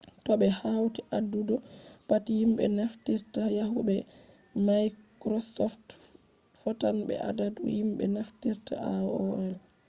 to ɓe hauti adadu pat himɓe naftirta yahu be maikrosoft fotan be adadu himɓe naftirta aol